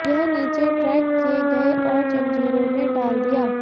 यह नीचे ट्रैक किए गए और जंजीरों में डाल दिया